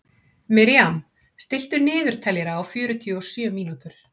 Miriam, stilltu niðurteljara á fjörutíu og sjö mínútur.